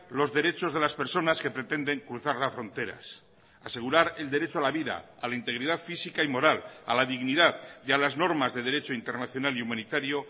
los derechos de las personas que pretenden cruzar las fronteras asegurar el derecho a la vida a la integridad física y moral a la dignidad y a las normas de derecho internacional y humanitario